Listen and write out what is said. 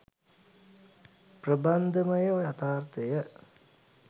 ප්‍රබන්ධමය යථාර්ථය